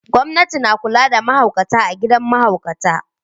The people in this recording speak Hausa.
Gwamnati na kula da mahaukata a gidan mahaukata.